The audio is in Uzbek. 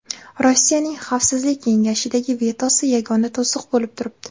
Rossiyaning Xavfsizlik kengashidagi vetosi yagona to‘siq bo‘lib turibdi.